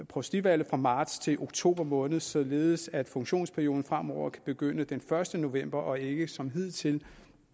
provstivalget fra marts til oktober måned således at funktionsperioden fremover kan begynde den første november og ikke som hidtil